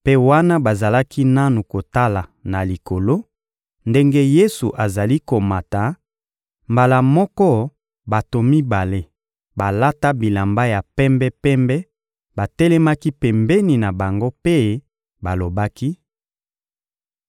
Mpe wana bazalaki nanu kotala na likolo ndenge Yesu azali komata, mbala moko bato mibale balata bilamba ya pembe-pembe batelemaki pembeni na bango mpe balobaki: